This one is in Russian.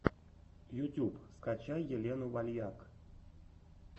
ютюб скачай елену вальяк